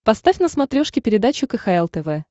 поставь на смотрешке передачу кхл тв